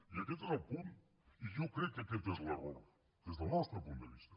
i aquest és el punt i jo crec que aquest és l’error des del nostre punt de vista